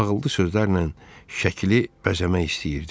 Ağıllı sözlərlə şəkili bəzəmək istəyirdim.